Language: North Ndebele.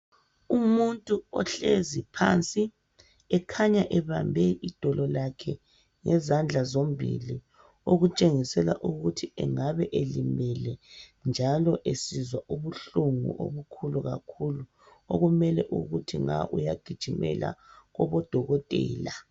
Umuntu ohlezi phansi ekhaya ebambe idolo lakhe ngezandla zombili okutshengisela ukuthi engabe elimele, njalo esizwa ubuhlungu obukhulu kakhulu okumele ukuthi nga uyagijimela kubodokotela.